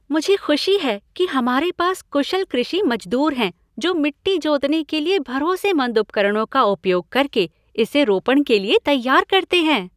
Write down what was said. मुझे खुशी है कि हमारे पास कुशल कृषि मजदूर हैं जो मिट्टी जोतने के लिए भरोसेमंद उपकरणों का उपयोग करके इसे रोपण के लिए तैयार करते हैं।